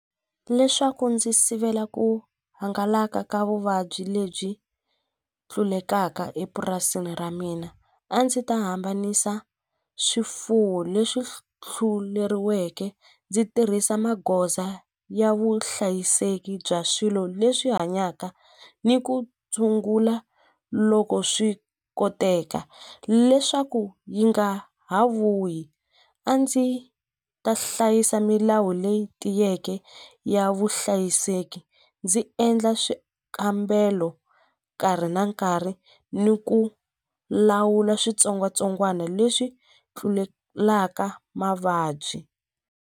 Leswaku ndzi sivela ku hangalaka ka vuvabyi lebyi tlulelaka epurasini ra mina a ndzi ta hambanisa swifuwo leswi ndzi tirhisa magoza ya vuhlayiseki bya swilo leswi hanyaka ni ku tshungula loko swi koteka leswaku yi nga ha vuyi a ndzi ta hlayisa milawu leyi tiyeke ya vuhlayiseki ndzi endla swikambelo nkarhi na nkarhi ni ku lawula switsongwatsongwana leswi tlulelaka mavabyi.